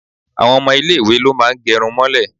Àwọn ọmọ ilé ìwé ló máa ń gẹrun mọ́lẹ̀.